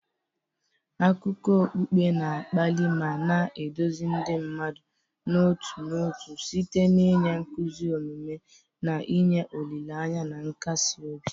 Akụkọ okpukpe na-akpali ma na-eduzi ndị mmadụ n'otu n'otu site n'inye nkuzi omume, na inye olileanya na nkasi obi.